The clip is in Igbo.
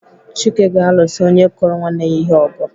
Chike ga-alụsa onye kụrụ nwanne ya ihe ọgụ.